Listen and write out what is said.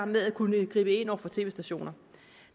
med at kunne gribe ind over for tv stationer